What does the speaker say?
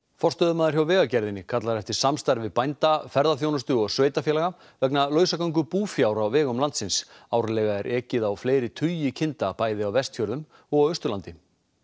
forstöðumaður hjá Vegagerðinni kallar eftir samstarfi bænda ferðaþjónustu og sveitarfélaga vegna lausagöngu búfjár á vegum landsins árlega er ekið á fleiri tugi kinda bæði á Vestfjörðum og Austurlandi